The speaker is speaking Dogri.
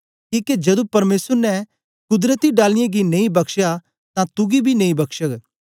किके जदू परमेसर ने कुदरती डालियें गी नेई बक्शया तां तुगी बी नेई बक्शग